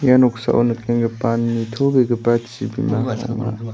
ia noksao nikenggipa nitobegipa chibima